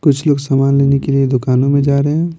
कुछ लोग सामान लेने के लिए दुकानों में जा रहे हैं।